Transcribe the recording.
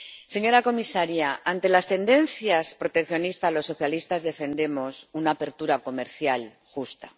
Señora comisaria, ante las tendencias proteccionistas, los socialistas defendemos una apertura comercial justa.